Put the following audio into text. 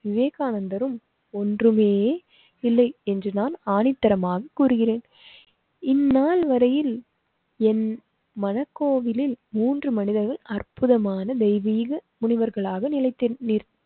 விவேகானந்தர்ரும் ஒன்றுமே இல்லை என்று நான் ஆணித்தரமாக கூறுகிறேன். இந்நாள் வரையில் என் மனக் கோவிலில் மூன்று மனிதர்கள் அற்புதமான தெய்வீக முனிவர்களாக நினைத்து